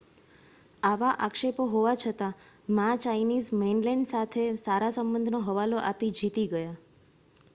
આવા આક્ષેપો હોવા છતાં મા ચાઈનીઝ મૈનલેન્ડ સાથે સારા સંબંધનો હવાલો આપી જીતી ગયા